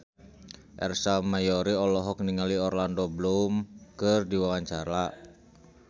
Ersa Mayori olohok ningali Orlando Bloom keur diwawancara